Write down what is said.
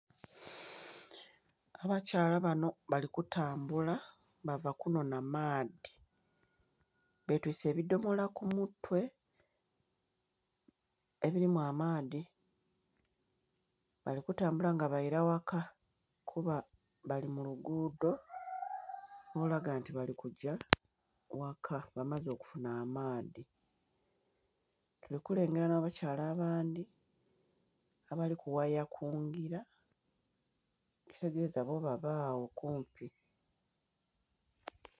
Abakyala bano balikutambula bavo kunona maadhi betwise ebidhomola kumutwe ebirimu amaadhi balikutambula nga baira waka kuba bali mulugudho olulaga nti bali okugya waka bamaze okufunha amaadhi. Tuli kulengera n'abakyala abandhi abali kughaya kungira ekitegeza bo babagho kumpi.